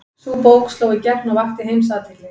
Sú bók sló í gegn og vakti heimsathygli.